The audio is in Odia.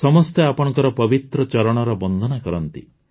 ସମସ୍ତେ ଆପଣଙ୍କ ପବିତ୍ର ଚରଣର ବନ୍ଦନା କରନ୍ତି